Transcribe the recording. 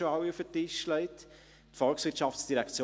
Ich denke, darin sind wir uns hier drin einig.